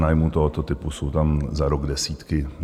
Pronájmů tohoto typu jsou tam za rok desítky.